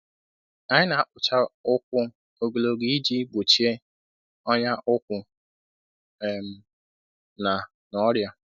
Anyị na-akpụcha ụkwụ ogologo iji gbochie ọnya ụkwụ um na na ọrịa.